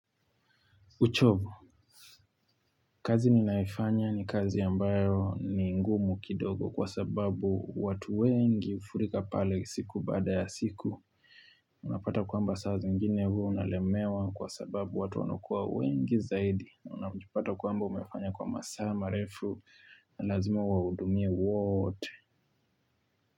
Uchovu, kazi ni nayoifanya ni kazi ambayo ni ngumu kidogo kwa sababu watu wengi ufurika pale siku baada ya siku. Unapata kwa mba saa zingine huwa unalemewa kwa sababu watu wanukuwa wengi zaidi. Unapata kwamba umefanya kwa masaa ma refu na lazima uwahudumia wote.